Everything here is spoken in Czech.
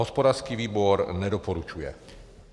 Hospodářský výbor nedoporučuje.